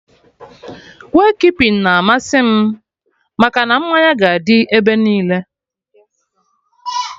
Wake keeping na amasị m, maka na mmanya ga dị ebe niile